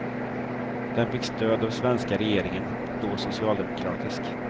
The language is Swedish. Den fick stöd av svenska regeringen, då socialdemokratisk.